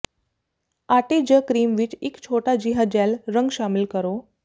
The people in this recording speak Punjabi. ਆਟੇ ਜ ਕਰੀਮ ਵਿੱਚ ਇੱਕ ਛੋਟਾ ਜਿਹਾ ਜੈੱਲ ਰੰਗ ਸ਼ਾਮਿਲ ਕਰੋ